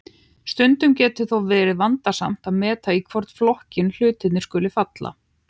Stundum getur þó verið vandasamt að meta í hvorn flokkinn hlutir skuli falla.